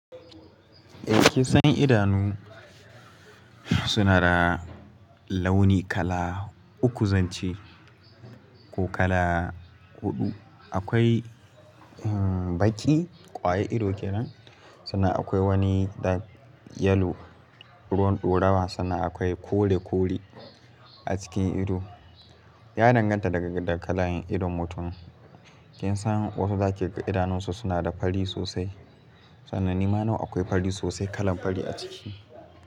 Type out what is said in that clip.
Eh sanyin idanu suna da launi kala uku zance ko kala huɗu. Akwai baki kwaye ido kenan, sannan akwai wani da yellow, ruwan ɗorawa sannan akwai kore kore a cikin ido. Ya danganta daga da kalayen idon mutum. Kin san wasu za kiga idanunsu suna da fari sosai. Sanannima nau akwai fari sosai kalan fari a ciki.